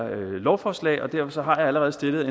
lovforslag og derfor har jeg allerede stillet